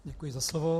Děkuji za slovo.